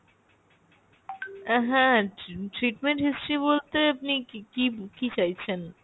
আহ হ্যাঁ ট্রি~ treatment history বলতে আপনি কী কী কী চাইছেন?